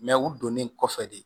u donnen kɔfɛ de